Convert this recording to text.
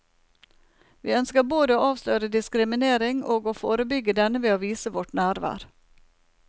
Vi ønsker både å avsløre diskriminering og å forebygge denne ved å vise vårt nærvær.